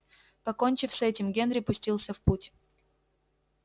покончив с этим генри пустился в путь